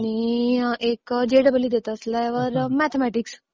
आणि एक जेईई देत असल्यावर मॅथेम्याटिक्स